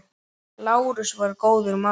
Lárus var góður maður.